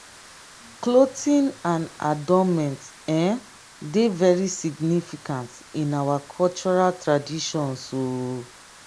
clothing and adornment um dey very significance in our cultural traditions. um